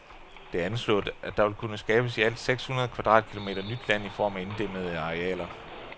Det er anslået, at der vil kunne skabes i alt sekshundrede kvadratkilometer nyt land i form af inddæmmede arealer.